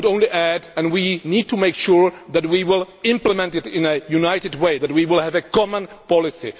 I would only add that we need to make sure that we will implement it in a united way, that we will have a common policy.